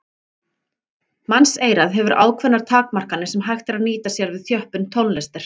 Mannseyrað hefur ákveðnar takmarkanir sem hægt er að nýta sér við þjöppun tónlistar.